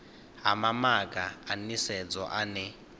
ha mamaga a nisedzo ane